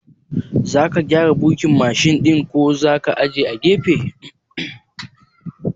Zaka gyara birkin Mashin ɗin ko zaka ajiye a gefe?